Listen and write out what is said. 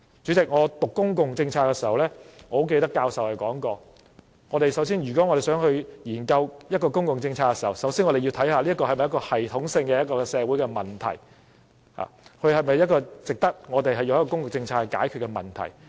主席，我唸公共政策時記得教授說過，如果我們想研究一項公共政策，首先要看看這是否系統性的社會問題，是否值得以公共政策來解決問題。